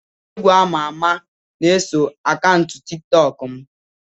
Onye egwu ama ama na-eso akaụntụ tiktok m